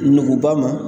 Nuguba ma